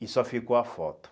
E só ficou a foto.